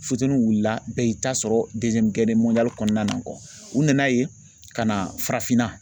Futɛnin wulila bɛɛ y'i ta sɔrɔ kɔnɔna na u nana yen ka na farafinna